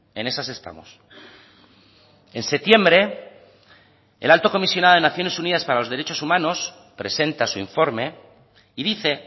en esas estamos en septiembre el alto comisionado de naciones unidas para los derechos humanos presenta su informe y dice